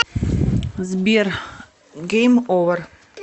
сбер гейм овер